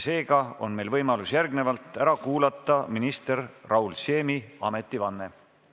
Täna on meil võimalus ära kuulata minister Raul Siemi ametivanne.